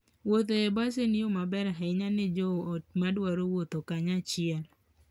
Wuoth e bas en yo maber ahinya ne joot madwaro wuotho kanyachiel.